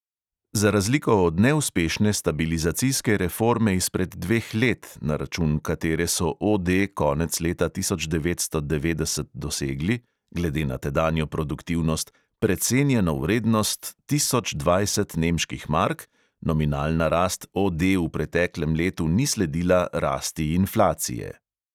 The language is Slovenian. Za razliko od neuspešne stabilizacijske reforme izpred dveh let, na račun katere so OD konec leta tisoč devetsto devetdeset dosegli – glede na tedanjo produktivnost – precenjeno vrednost tisoč dvajset nemških mark, nominalna rast OD v preteklem letu ni sledila rasti inflacije.